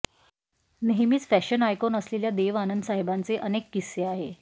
नेहमीच fashion icon असलेल्या देव आनंद साहेबांचे अनेक किस्से आहे